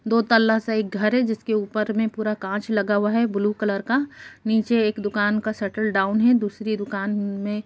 दो तल्ला सा एक घर है जिसके ऊपर में पूरा काँच लगा हुआ है ब्लू कलर का। नीचे एक दुकान का शटल डाउन है दूसरी दुकान में --